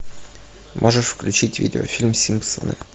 можешь включить видео фильм симпсоны